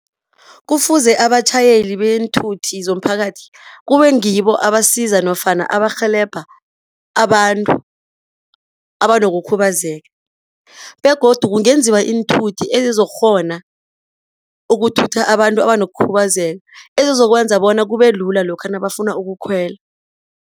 Kufuze abatjhayeli beenthuthi zomphakathi kube ngibo abasiza nofana abarhelebha abantu abanokukhubazeka begodu kungenziwa iinthuthi ezizokghona ukuthutha abantu abanokukhubazeka ezizokwenza bona kube lula lokha nabafuna ukukhwela.